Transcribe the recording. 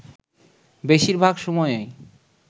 বেশির ভাগ সময়ই